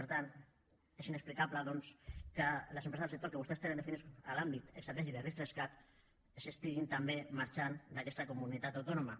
per tant és inexplicable doncs que les empreses dels sectors que vostès tenen definits a l’àmbit estratègic de ris3cat estiguin també marxant d’aquesta comunitat autònoma